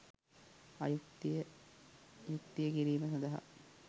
අයුක්තිය යුක්තිය කිරීම සඳහා